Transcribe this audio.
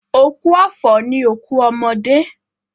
Òkú ọ̀fọ̀ ni òkú ọmọdé.